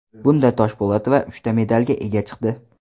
Bunda Toshpo‘latova uchta medalga ega chiqdi.